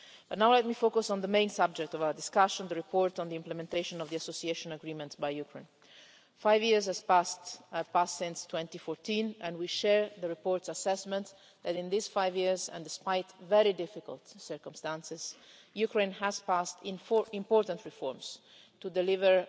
Now let me focus on the main subject of our discussion, the report on Ukraine's implementation of the Association Agreement. Five years have passed since 2014 and we share the report's assessments that in these five years and despite very difficult circumstances, Ukraine has passed four important reforms to deliver